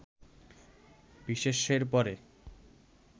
বিশেষ্যের পরে